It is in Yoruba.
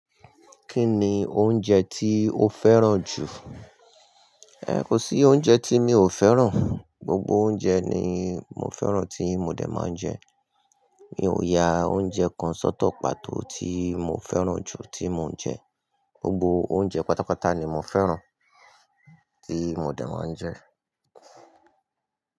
Kí ni oúnjẹ tí o fẹ́ràn jù? Ẹ̀, kò sí oúnjẹ tí mi ò fẹ́ràn. Gbogbo oúnjẹ ni mo fẹ́ràn tí mo dẹ̀ máa ń jẹ. Mi ò ya oúnjẹ kan sọ́tọ̀ pàtó tí mo fẹ́ràn jù tí mo ń jẹ. Gbogbo oúnjẹ pátápátá ni mo fẹ́ràn tí mo dẹ̀ máa ń jẹ.